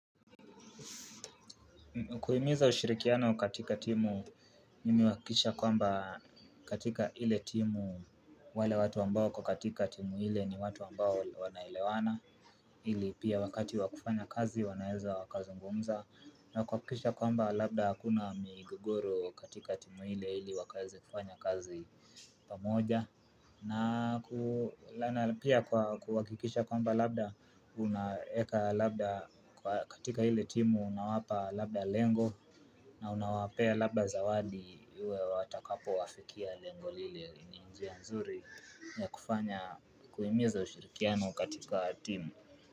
Kuhimiza ushirikiano katika timu mimi huhakikisha kwamba katika ile timu wale watu ambao kwa katika timu ile ni watu ambao wanaelewana ili pia wakati wakufanya kazi wanaeza wakazungumza na kuhakikisha kwamba labda hakuna migogoro katika timu ile ili wakaeze kufanya kazi pamoja. Na pia kuwa kuhakikisha kwamba labda unaeka labda katika ile timu unawapa labda lengo. Na unawapea labda zawadi uwe watakapo wafikia lengo lile njia nzuri ya kufanya kuhimiza ushirikiano katika timu.